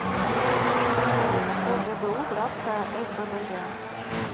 огбу братская сббж